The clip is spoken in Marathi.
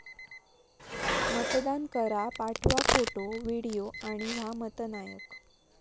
मतदान करा...पाठवा फोटो, व्हिडिओ आणि व्हा मतनायक!